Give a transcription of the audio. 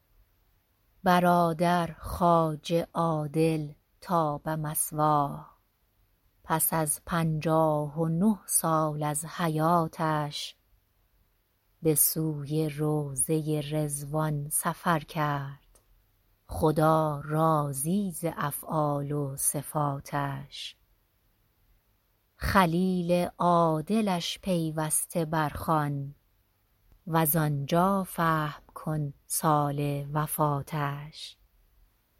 برادر خواجه عادل طاب مثواه پس از پنجاه و نه سال از حیاتش به سوی روضه رضوان سفر کرد خدا راضی ز افعال و صفاتش خلیل عادلش پیوسته بر خوان وز آنجا فهم کن سال وفاتش